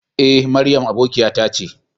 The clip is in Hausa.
E, Mariam aboƙiyata ce.